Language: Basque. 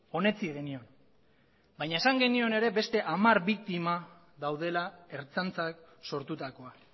onetsi genion baina esan genion ere beste hamar biktima daudela ertzaintzak sortutakoa